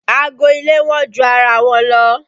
Aago ilé wọ́n ju ara wọn lọ